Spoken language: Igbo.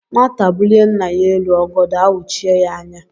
Nwata bulie nna ya elu, ọgọdọ awuchie yá anya